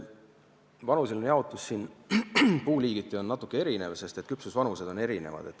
Vanuseline jaotus on puuliigiti natuke erinev, sest küpsusvanused on erinevad.